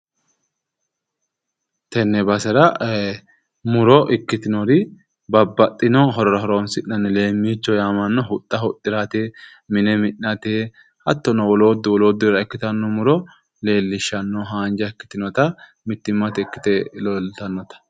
Tenne basera muro ikkitinori babbaxxino horora horoonsi'nanni leemmiichoho yaamamanno huxxa huxxirate, mine mi'nate, hattono wolootu wolooddurira ikkitanno muro leellishshanno haanja ikkitinota mittimmate ikkite leeltannota.